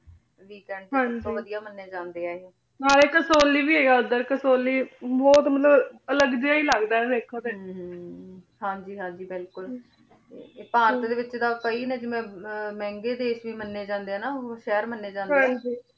ਨਾਲੇ ਕਾਸੋਲੀ ਵੀ ਹੇਗਾ ਓਧਰ ਕਾਸੂਲੀ ਬੋਹਤ ਮੇਨੂ ਅਲਗ ਜੇਯ ਈ ਲਗਦਾ ਹਮ ਵੇਖੋ ਤੇ ਹਨ ਹਨ ਹਾਂਜੀ ਹਾਂਜੀ ਬਿਲਕੁਲ ਭਾਰਤ ਦੇ ਵਿਚ ਤਾਂ ਕਈ ਨੇ ਜਿਵੇਂ ਮੇਹ੍ਨ੍ਗਾਯ ਦੇਸ਼ ਵੀ ਮਨੀ ਜਾਂਦੇ ਆਯ ਸ਼ੇਹਰ ਮਨੀ ਜਾਂਦੇ ਆਯ